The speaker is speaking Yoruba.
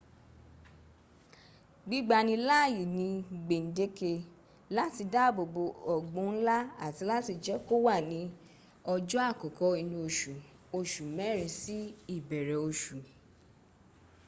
gbígbani láàyè ní gbèǹdéke láti dáàbòbò ọ̀gbun ńlá àti láti jẹ́ kó wà ní ọjọ́ àkọ́kọ́ inú oṣù oṣù mẹ́rin sí ìbẹ̀rẹ̀ oṣù